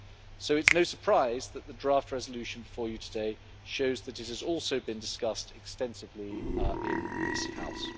So it is no surprise that the draft resolution before you today shows that it has also been discussed extensively in this House.